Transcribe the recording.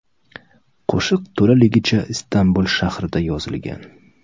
Qo‘shiq to‘laligicha Istanbul shahrida yozilgan.